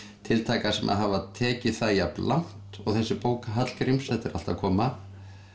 tiltaka sem hafa tekið það jafnlangt og þessi bók Hallgríms þetta er allt að koma